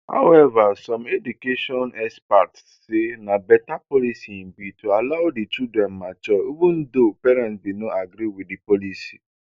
howeva some education experts say na beta policy e be to allow di children mature even though parents bin no agree wit di policy